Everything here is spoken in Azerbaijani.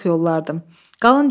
Lap yüz daraq yollardım.